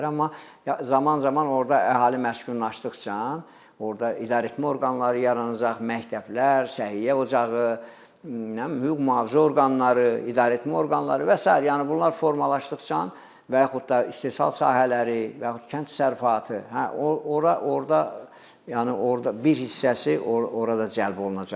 Amma zaman-zaman orda əhali məskunlaşdıqca, orda idarəetmə orqanları yaranacaq, məktəblər, səhiyyə ocağı, hüquq-mühafizə orqanları, idarəetmə orqanları və sair, yəni bunlar formalaşdıqca və yaxud da istehsal sahələri, və yaxud kənd təsərrüfatı, hə, ora orda yəni orda bir hissəsi orada cəlb olunacaqlar.